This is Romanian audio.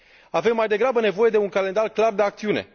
Avem mai degrabă nevoie de un calendar clar de acțiune.